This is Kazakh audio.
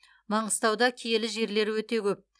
маңғыстауда киелі жерлер өте көп